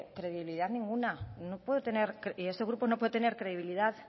credibilidad ninguna no puede tener y este grupo no puede tener credibilidad